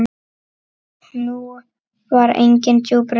Nú var engin djúp rödd.